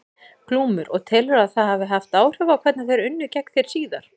Glúmur: Og telurðu að það hafi haft áhrif á hvernig þeir unnu gegn þér síðar?